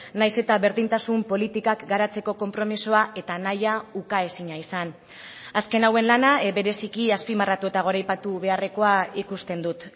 nahiz eta berdintasun politikak garatzeko konpromisoa eta nahia ukaezina izan azken hauen lana bereziki azpimarratu eta goraipatu beharrekoa ikusten dut